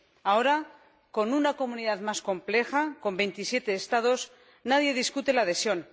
Ahora, con una comunidad más compleja, con 27 Estados, nadie discute la adhesión.